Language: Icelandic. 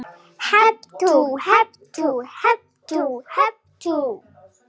Hep tú, hep tú, hep tú, hep tú.